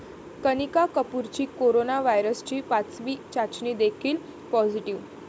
कनिका कपूरची कोरोना व्हायरसची पाचवी चाचणी देखील पॉझिटीव्ह